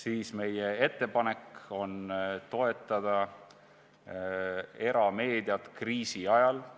siis ütlen, et meie ettepanek on toetada erameediat kriisi ajal.